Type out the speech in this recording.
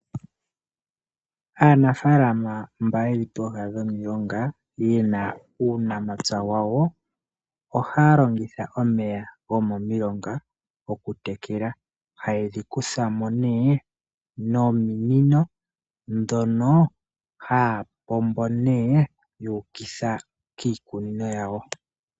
Aanafaalama mba yeli pooha nomilonga yena uunamapya wawo, ohaya longitha omeya gomomulonga okutekela, haye dhi kutha mo nee nominino ndhono haya pombo nee yuukitha kiikunino yawo.